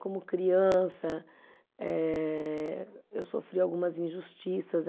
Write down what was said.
Como criança, eh eu sofri algumas injustiças.